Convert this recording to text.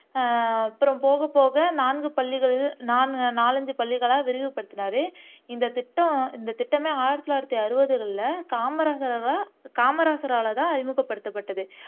அஹ் அப்புறம் போகப்போக நான்கு பள்ளிகள் நான் நாலைஞ்சு பள்ளிகளா விரிவு படுத்தினாரு இந்த திட்டம் இந்த திட்டமே ஆயிரத்தி தொள்ளாயிரத்து அறுபதுகள்ல காமராஜராலதான் அறிமுகப்படுத்தப்பட்டது